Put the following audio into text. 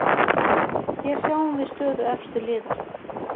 Hér sjáum við stöðu efstu liða.